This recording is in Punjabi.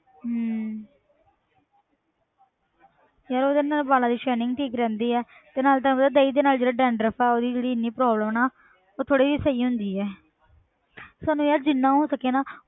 ਹਮ ਯਾਰ ਉਹਦੇ ਨਾਲ ਵਾਲਾਂ ਦੀ shining ਠੀਕ ਰਹਿੰਦੀ ਹੈ ਤੇ ਨਾਲੇ ਤੈਨੂੰ ਪਤਾ ਦਹੀਂ ਦੇ ਨਾਲ ਜਿਹੜਾ dandruff ਆ ਉਹਦੀ ਜਿਹੜੀ ਇੰਨੀ problem ਨਾ ਉਹ ਥੋੜ੍ਹੀ ਜਿਹੀ ਸਹੀ ਹੁੰਦੀ ਹੈ ਸਾਨੂੰ ਯਾਰ ਜਿੰਨਾ ਹੋ ਸਕੇ ਨਾ,